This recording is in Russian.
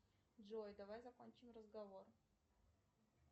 джой давай закончим разговор